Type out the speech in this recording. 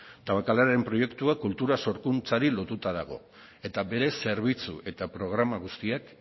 tabakaleraren proiektua kultura sorkuntzari lotuta dago eta bere zerbitzu eta programa guztiak